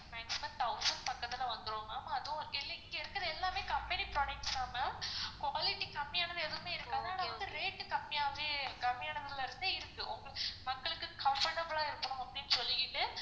maximum thousand பக்கத்துல வந்துரும் அதுவும் இன்னிக்கு இருக்குற எல்லாமே company products தான் ma'am quality கம்மியா இருந்தா எதுவுமே இருக்காது இன்னொன்னு வந்து rate டு கம்மியா கம்மியானதுல இருந்தே இருக்கு மக்களுக்கு comfortable ஆ இருக்கணும்னு அப்படின்னு சொல்லிகிட்டு